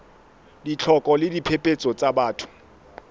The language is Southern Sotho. ditlhoko le diphephetso tsa batho